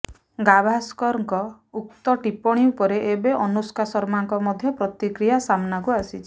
ଗାଭାସ୍କରଙ୍କ ଉକ୍ତ ଟିପ୍ପଣୀ ଉପରେ ଏବେ ଅନୁଷ୍କା ଶର୍ମାଙ୍କ ମଧ୍ୟ ପ୍ରତିକ୍ରିୟା ସାମ୍ନାକୁ ଆସିଛି